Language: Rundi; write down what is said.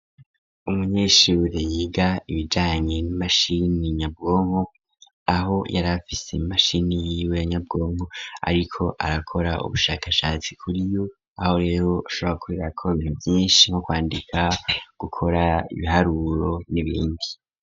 Umunyeshure yiga ibijanyi mashini nyabwongo aho yari afise mashini yiwe anyabwongo ariko arakora ubushakashatsi kuri uyu aho rashobora kuberako bintu vyinshi bifise nko kwandika gukora ibiharuro n'ibindi.